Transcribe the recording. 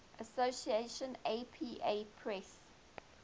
association apa press